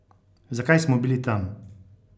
Zakaj smo bili tam?